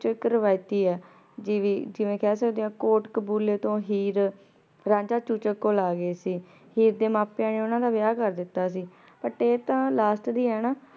ਜੀ ਜੀ ਜਿਵੇਂ ਕਹ ਸਕਦੇ ਆਂ ਕੋਟ ਕਾਬੁਲੀ ਤੋਂ ਹੀਰ ਰਾਂਝਾ ਚੂਚਕ ਕੋਲ ਅਗੇ ਸੀ ਹੀਰ ਦਾ ਮਾਂ ਪਾਯਾ ਨੇ ਓਨਾਂ ਦਾ ਵਿਯਾਹ ਕਰ ਦਿਤਾ ਸੀ ਬੁਤ ਆਯ ਤਾਂ but ਦੀ ਆਯ ਨਾ